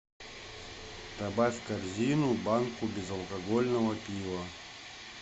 добавь в корзину банку безалкогольного пива